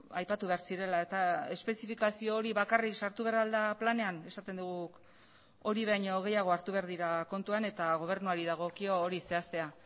aipatu behar zirela eta espezifikazio hori bakarrik sartu behar al da planean esaten dugu guk hori baino gehiago hartu behar dira kontuan eta gobernuari dagokio hori zehaztea